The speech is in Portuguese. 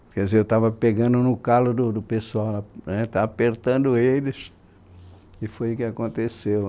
Quer dizer, eu estava pegando no calo do pessoal, apertando eles, e foi o que aconteceu.